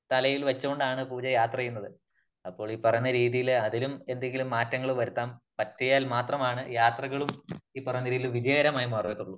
തലയിൽ വച്ചോണ്ടാണ് പൂജ യാത്ര ചെയ്യുന്നത്. അപ്പോൾ ഈ പറയുന്ന രീതിയില് അതിലും എന്തെങ്കിലും മാറ്റങ്ങൾ വരുത്തുവാൻ പറ്റിയാൽ മാത്രമാണ് ,യാത്രകളും ഈ പറയുന്ന രീതിയില് വിജയകരമായി മാറുകയുള്ളു.